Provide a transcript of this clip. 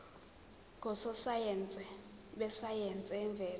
ngososayense besayense yemvelo